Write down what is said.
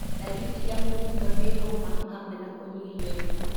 Ndariri cia mũkingo nĩ homa hamwe na kũnyihia ũritũ.